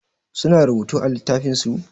Su na rubutu a littafin su?